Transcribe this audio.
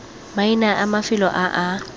maina a mafelo a a